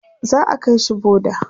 za'a kaishi boda